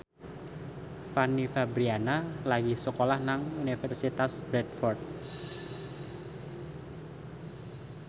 Fanny Fabriana lagi sekolah nang Universitas Bradford